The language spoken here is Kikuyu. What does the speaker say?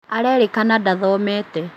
Arerĩkana ndathomete